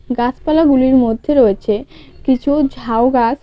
গাছপালা গুলির মধ্যে রয়েছে কিছু ঝাউ গাছ।